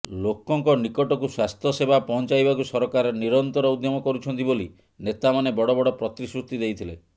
ଲୋକଙ୍କ ନିକଟକୁ ସ୍ୱାସ୍ଥ୍ୟସେବା ପହଞ୍ଚାଇବାକୁ ସରକାର ନିରନ୍ତର ଉଦ୍ୟମ କରୁଛନ୍ତି ବୋଲି ନେତାମାନେ ବଡ଼ ବଡ଼ ପ୍ରତିଶ୍ରୁତି ଦେଇଥିଲେ